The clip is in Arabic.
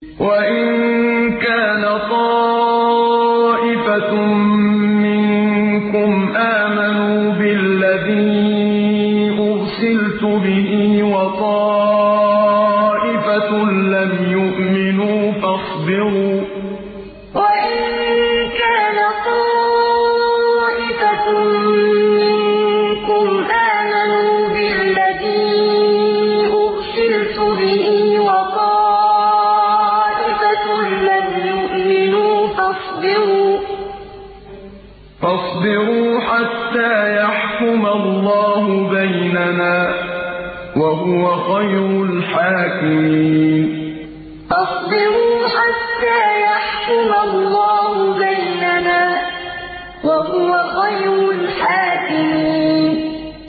وَإِن كَانَ طَائِفَةٌ مِّنكُمْ آمَنُوا بِالَّذِي أُرْسِلْتُ بِهِ وَطَائِفَةٌ لَّمْ يُؤْمِنُوا فَاصْبِرُوا حَتَّىٰ يَحْكُمَ اللَّهُ بَيْنَنَا ۚ وَهُوَ خَيْرُ الْحَاكِمِينَ وَإِن كَانَ طَائِفَةٌ مِّنكُمْ آمَنُوا بِالَّذِي أُرْسِلْتُ بِهِ وَطَائِفَةٌ لَّمْ يُؤْمِنُوا فَاصْبِرُوا حَتَّىٰ يَحْكُمَ اللَّهُ بَيْنَنَا ۚ وَهُوَ خَيْرُ الْحَاكِمِينَ